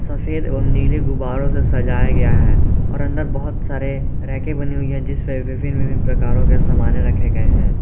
सफेद एवं नील गुब्बारों से सजाया गया है और अंदर बहुत सारे रैके बनी हुई है जिसपे विभिन्न विभिन्न प्रकारों के सामाने रखे गए हैं।